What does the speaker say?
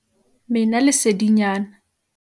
mena lesedinyana